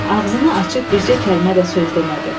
Ağzını açıb bircə kəlmə də söz demədi.